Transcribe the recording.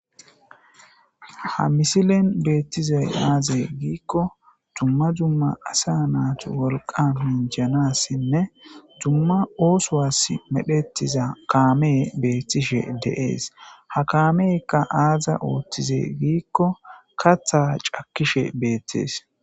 ha misilen beettizay aazey giikko dumma dumma asa naat wolqa minjanassinne dumma oosowas medhetiza kaame beettishe deees ha kaamekka aaza ooththize giikko katha cakkishe beettees